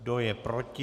Kdo je proti?